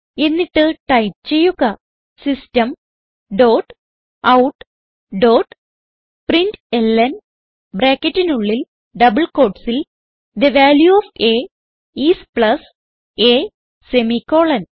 എന്നിട്ട് ടൈപ്പ് ചെയ്യുക system dot out dot println ബ്രാക്കറ്റിനുള്ളിൽ ഡബിൾ quotesസിൽ the value of a is plus a semicolon